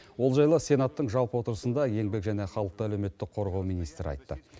ол жайлы сенаттың жалпы отырысында еңбек және халықты әлеуметтік қорғау министрі айтты